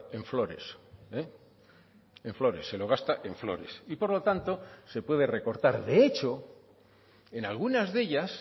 en flores en flores se lo gasta en flores y por lo tanto se puede recortar de hecho en algunas de ellas